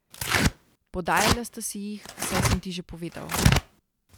Podajala sta si jih, saj sem ti že povedal.